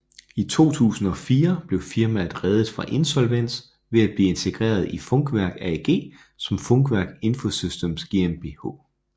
I 2004 blev firmaet reddet fra insolvens ved at blive integreret i Funkwerk AG som Funkwerk Infosystems GmbH